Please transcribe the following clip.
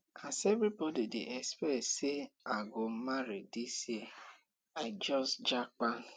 as everbody dey expect sey i go marry dis year i just japa